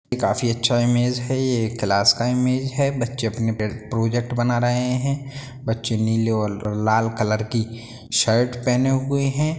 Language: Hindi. काफी अच्छा ईमेज है। ये एक क्लास का ईमेज है। बच्चे अपने पे प्रोजेक्ट बना रहे हैं बच्चे नीले और लाल कलर की शर्ट पहने हुए हैं।